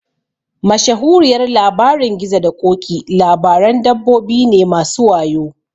Mashahuriyar Labarin gizo da ƙoki labaran dabbobi ne masu wayo